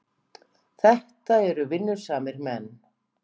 Þetta eru vinnusamir menn.